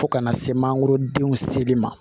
Fo kana se mankoro denw seli ma